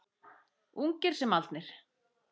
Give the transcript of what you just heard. Ungir sem aldnir.